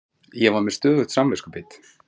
Ég var með stöðugt samviskubit.